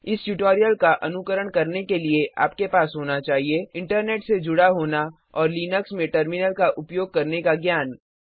इस ट्यूटोरियल का अनुकरण करने के लिए आपके पास होना चाहिए इंटरनेट से जुडा होना और लिनक्स में टर्मिनल का उपयोग करने का ज्ञान